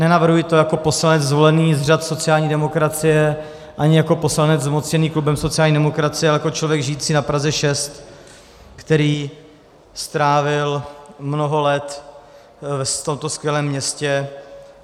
Nenavrhuji to jako poslanec zvolený z řad sociální demokracie ani jako poslanec zmocněný klubem sociální demokracie, ale jako člověk žijící na Praze 6, který strávil mnoho let v tomto skvělém městě.